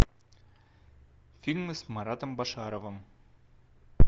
фильмы с маратом башаровым